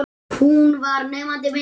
Hún var nemandi minn.